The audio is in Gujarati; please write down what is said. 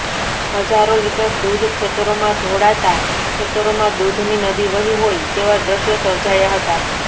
હજારો લિટર દૂધ ખેતરોમાં ઢોળાતાં ખેતરોમાં દૂધની નદી વહી હોય તેવા દ્રશ્યો સર્જાયા હતા